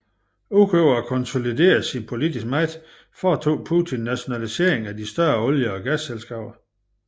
Udover at konsolidere sin politiske magt foretog Putin nationaliseringer af de større olie og gasselskaber